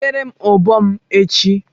Wetere m ụbọ m echi!